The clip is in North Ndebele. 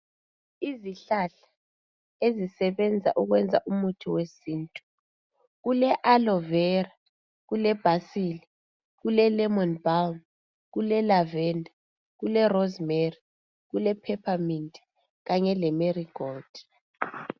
Izihlahla ezisebenza ukwenza umithi wesintu kule aloe vera , kule basil ,kule lemon balm ,kule lavender, kule rosemary , kule peppermint kanye le marigold